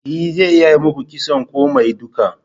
E zan iya yi muku kitson komai duka.